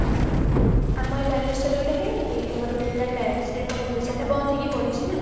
ଆମର ବାଲେଶ୍ଵର ରେ ଗୋଟେ ହେଇନି କି ଏ ଆମ ବିର୍ଲା ଶିଳ୍ପ କ୍ଷେତ୍ର ରେ ସେଟା ବନ୍ଦ ହେଇକି ପଡିଛି